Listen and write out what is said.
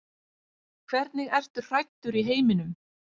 Hvernig ertu hræddur í heiminum?